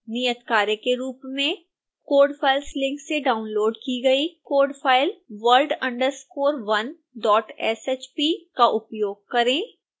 नियतकार्य के रूप में code files लिंक से डाउनलोड़ की गई कोड फाइल world_1shp का उपयोग करें